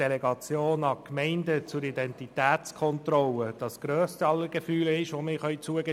Die Delegation an Gemeinden zur Identitätskontrolle ist das Maximum, das wir zugestehen können.